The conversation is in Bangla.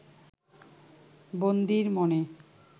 বন্দীর মনে